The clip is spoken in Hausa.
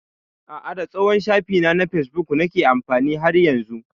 A'a, da tsohon shafina na facebook nake amfani har yanzu.